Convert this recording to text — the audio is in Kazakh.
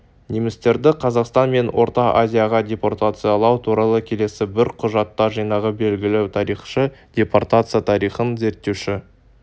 немістерді қазақстан мен орта азияға депортациялау туралы келесі бір құжаттар жинағы белгілі тарихшы депортация тарихын зерттеуші